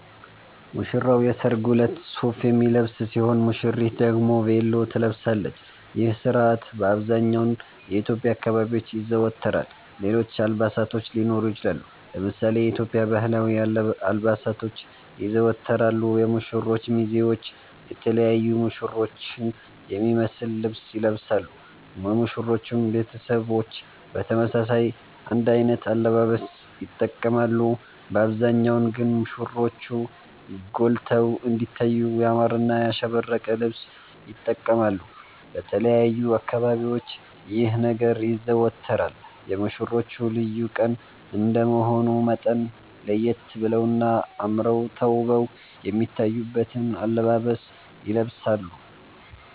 ሙሽራዉ የሰርጉ እለት ሱፍ የሚለብስ ሲሆን ሙሽሪት ደግሞ ቬሎ ትለብሳለች ይህ ስርአት በአብዘሃኛዉ የኢትዮዽያ አካባቢዎች ይዘወተራል ሌሎች አልባሳቶች ሊኖሩ ይችላሉ። ለምሳሌ የኢትዮዽያ ባህላዊ አልባሳቶች ይዘወተራሉ የሙሽሮቹ ሚዜዎች የተለያዩ ሙሽሮቹን የሚመሰል ልብስ ይለብሳሉ የሙሽሮቹም ቤተሰቦች በተመሳሳይ አንድ አይነት አለባበስ ይተቀማሉ በአብዛሃኛዉ ግን ሙሽሮቹ ጎልተዉ እንዲታዩ ያማረና ያሸበረቀ ልብስ ይተቀማሉ። በተለያዩ አካባቢዎች ይህ ነገር ይዘወተራል የሙሽሮቹ ልዩ ቀን እንደመሆኑ መጠን ለየት በለዉና አመረዉ ተዉበዉ የሚታዩበትን አለባበስ ይለብሳሉ